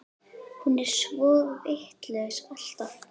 Hún er svo vitlaus alltaf.